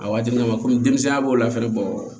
A waati min na komi denmisɛnya b'o la fɛnɛ bɔ